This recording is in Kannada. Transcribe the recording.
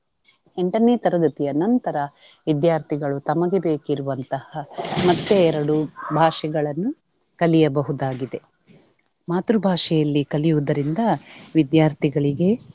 ಎಂಟನೇ ತರಗತಿಯ ನಂತರ ವಿದ್ಯಾರ್ಥಿಗಳು ತಮಗೆ ಬೇಕಿರುವಂತಹ ಮತ್ತೆ ಎರಡು ಭಾಷೆಗಳನ್ನು ಕಲಿಯಬಹುದಾಗಿದೆ. ಮಾತೃ ಭಾಷೆಯಲ್ಲಿ ಕಲಿಯುದರಿಂದ ವಿದ್ಯಾರ್ಥಿಗಳಿಗೆ